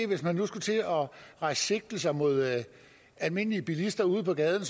hvis man nu skulle til at rejse sigtelser mod almindelige bilister ude på gaden